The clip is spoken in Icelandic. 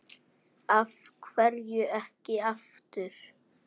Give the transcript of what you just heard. Af hverju ekki aftur?